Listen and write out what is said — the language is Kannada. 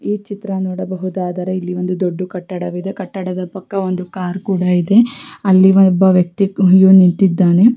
ಈ ಚಿತ್ರ ನೋಡಬಹುದಾದರೆ ಇಲ್ಲಿ ಒಂದು ದೊಡ್ಡ ಕಟ್ಟಡವಿದೆ ಕಟ್ಟಡದ ಪಕ್ಕ ಒಂದು ಕಾರ್ ಕೂಡ ಇದೆ ಅಲ್ಲಿ ಒಬ್ಬ ವ್ಯಕ್ತಿಯು ನಿಂತಿದ್ದಾನೆ.